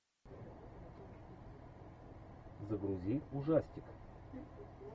загрузи ужастик